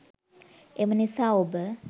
එමනිසා ඔබ